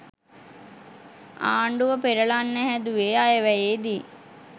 ආණ්ඩුව පෙරලන්න හැදුවේ අයවැයේදි.